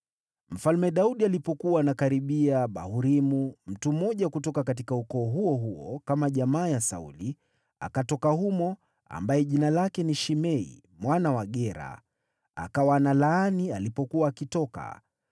Mfalme Daudi alipokuwa anakaribia Bahurimu, mtu mmoja kutoka ukoo huo huo kama jamaa ya Sauli, akatoka humo, ambaye jina lake ni Shimei mwana wa Gera; akawa analaani alipokuwa akitoka.